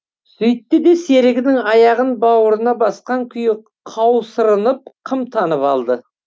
сөйтті де серігінің аяғын бауырына басқан күйі қаусырынып қымтанып алды